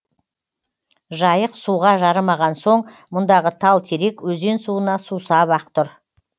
жайық суға жарымаған соң мұндағы тал терек өзен суына сусап ақ тұр